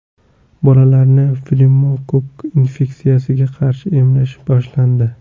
Bolalarni pnevmokokk infeksiyasiga qarshi emlash boshlandi.